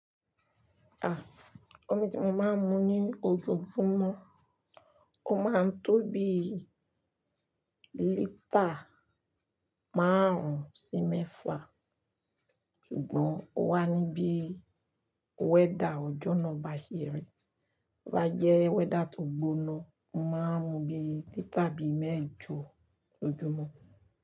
Ah, omi tí mo máa ń mu ní ojoojúmọ́, ó máa ń tó bí i lítà márùn-ún sí mẹ́fà, ṣùgbọ́n ó wá ní bí i weather ọjọ́ náà bá ṣe rí. Tobá jẹ́ weather tó gbóná, mo máa ń mu bí i lítà bí i mẹ́ẹ̀jọ lójoojúmọ́